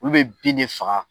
Olu be bin de faga